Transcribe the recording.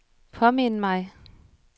påmind mig